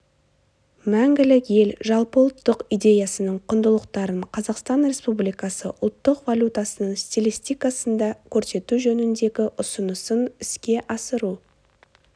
мәңгілік ел жалпыұлттық идеясының құндылықтарын қазақстан республикасы ұлттық валютасының стилистикасында көрсету жөніндегі ұсынысын іске асыру